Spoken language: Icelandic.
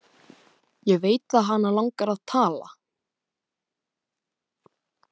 Ég veit að hana langar að tala.